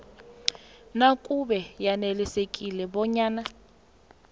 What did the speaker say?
nakube yanelisekile bonyana